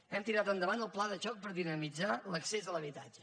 hem tirat endavant el pla de xoc per dinamitzar l’accés a l’habitatge